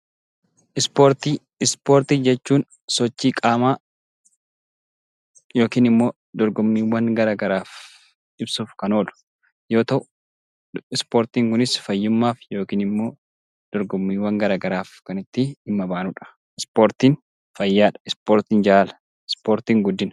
Ispoortii Ispoortii jechuun sochii qaamaa yookiin dorgommiiwwan garaagaraaf ibsuuf kan oolu yoo ta'u, ispoortii Kun immoo fayyummaaf yookiin immoo dorgommiiwwan garaagaraaf kan itti dhimma baanudha. Ispoortiin fayyaadha, ispoortiin jaalala, ispoortiin guddina.